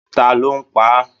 Taló pá a?